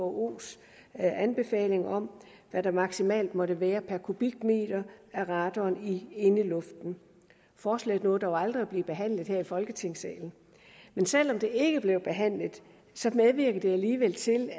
whos anbefaling om hvad der maksimalt måtte være per kubikmeter af radon i indeluften forslaget nåede dog aldrig at blive behandlet her i folketingssalen men selv om det ikke blev behandlet medvirkede det alligevel til